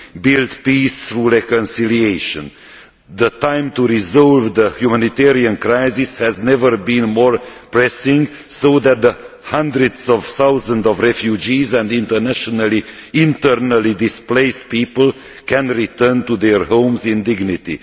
build peace through reconciliation. The time to resolve the humanitarian crisis has never been more pressing, so that the hundreds of thousands of refugees and internally displaced people can return to their homes in dignity.